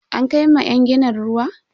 An kai ma yan ginin ruwa?